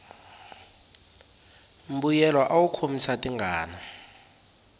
mbuyelo awu khomisa tingana